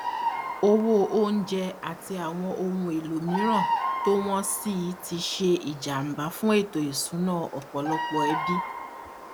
owó oúnjẹ àti àwọn ohun èlò mìíràn tó wọn sí i tí ṣe ìjàmbá fún ètò ìṣúná ọpọlọpọ ẹbí